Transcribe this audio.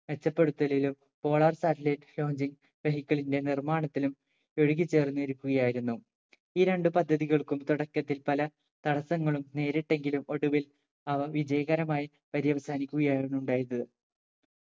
മെച്ചപ്പെടുത്തലിലും polar satellite launching vehicle ന്റെ നിർമാണത്തിലും ഒഴുകിച്ചേർന്നിരിക്കുകയായിരുന്നു ഈ രണ്ട് പദ്ധതികൾക്കും തുടക്കത്തിൽ പല തടസങ്ങളും നേരിട്ടെങ്കിലും ഒടുവിൽ അവ വിജയകരമായി പര്യവസാനിക്കുകയായിരുന്നു ഉണ്ടായത്.